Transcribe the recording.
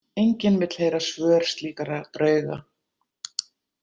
Enginn vill heyra svör slíkra drauga.